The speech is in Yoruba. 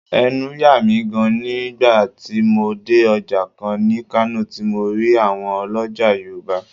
Ẹnu yà mí gaan ni nígbà tí mo dé Ọjà kan ní Kano tí mo rí àwọn ọlọ́já Yorùbá